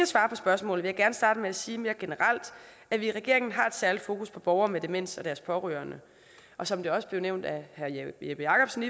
svarer på spørgsmålet vil gerne starte med at sige mere generelt at vi i regeringen har et særligt fokus på borgere med demens og deres pårørende og som det også blev nævnt af herre jeppe jakobsen